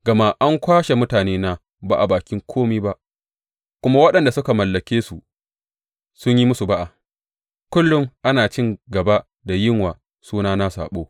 Gama an kwashe mutanena ba a bakin kome ba kuma waɗanda suka mallake su sun yi musu ba’a, Kullum ana cin gaba da yin wa sunana saɓo.